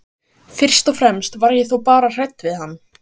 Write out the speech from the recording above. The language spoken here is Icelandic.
Fyrst og fremst var ég þó bara hrædd við hann.